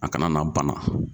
A kana na bana.